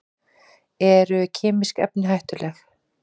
Eru kemísk efni hættuleg?